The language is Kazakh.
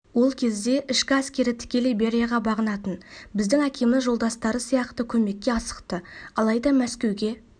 ол кезде ішкі әскер тікелей берияға бағынатын біздің әкеміз жолдастары сияқты көмекке асықты алайда мәскеуге